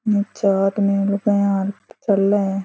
चाहत में रुके है और चल ले --